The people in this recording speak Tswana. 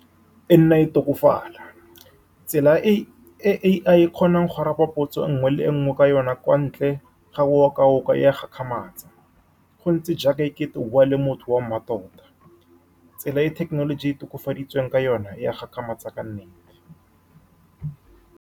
E nna e tokafala, tsela e A_I e kgonang go araba potso nngwe le nngwe ka yone kwa ntle ga go o ka o ka ya kgakgamatse, gontse jaaka ekete o bua le motho wa mmatota. Tsela e thekenoloji e e tokafaditsweng ka yone ya gakgamatsa ka nnete.